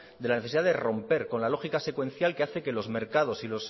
de la necesidad de romper con la lógica secuencial que hace que los mercados